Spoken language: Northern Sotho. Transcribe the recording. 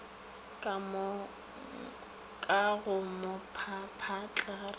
ka go mo papatla ra